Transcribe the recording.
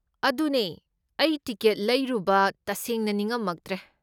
ꯑꯗꯨꯅꯦ, ꯑꯩ ꯇꯤꯀꯦꯠ ꯂꯩꯔꯨꯕ ꯇꯁꯦꯡꯅ ꯅꯤꯉꯝꯃꯛꯇ꯭ꯔꯦ꯫